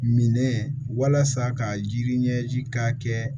Minɛ walasa ka yiri ɲɛji ka kɛ